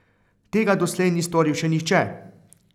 Tega doslej ni storil še nihče!